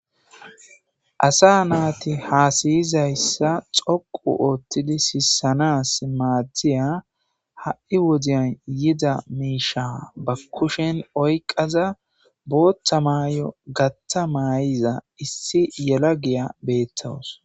asa naati haasayizayssa xoqu oothtidi siissanas maaddiya ha7i wodiyan yida miisha ba kushen oyqaza boottha maayo gattha maay7iza issi yela giya beettawus